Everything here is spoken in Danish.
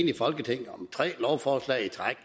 i folketinget med tre lovforslag i træk